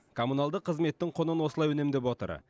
коммуналдық қызметтің құнын осылай үнемдеп отыр